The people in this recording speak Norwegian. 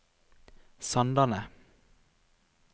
Sandane